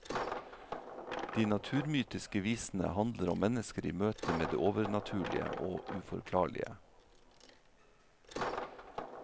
De naturmytiske visene handler om mennesker i møte med det overnaturlige og uforklarlige.